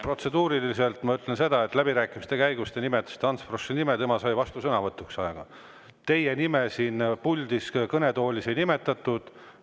Protseduuriliselt ütlen ma seda, et läbirääkimiste käigus te nimetasite Ants Froschi nime, tema sai vastusõnavõtu, teie nime siin kõnetoolis ei nimetatud.